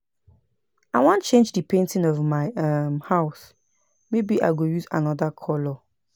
I wan change the painting of my um house maybe I go use another colour